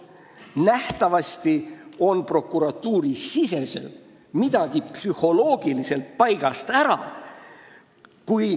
Nähtavasti on prokuratuuri sees midagi psühholoogiliselt paigast ära.